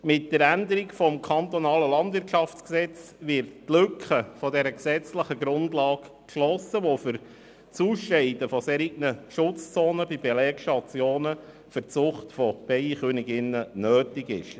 Mit der Änderung des KLwG wird die Lücke in der gesetzlichen Grundlage geschlossen, die es für die Ausscheidung solcher Schutzzonen um Belegstationen für die Zucht von Bienenköniginnen braucht.